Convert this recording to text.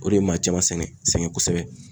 O de ye maa caman sɛgɛn sɛgɛn kosɛbɛ.